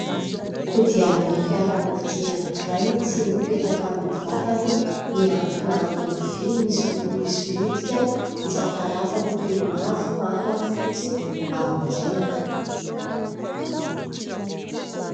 Kodiarana fiarakodia anankiray tsy mipetaka amin'ny vatany, miankina amin'ny vy ; misy loko misolitika isan-karazany toy ny mavo, manga, fotsy aorianany.